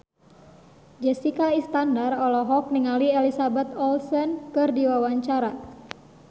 Jessica Iskandar olohok ningali Elizabeth Olsen keur diwawancara